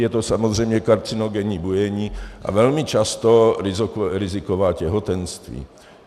Je to samozřejmě karcinogenní bujení a velmi často riziková těhotenství.